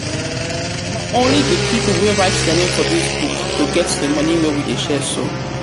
only the people wey write dia name for dis book go get the money wey we dey share so